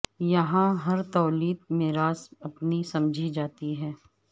یہا ں ہر تولیت میراث اپنی سمجھی جاتی ہے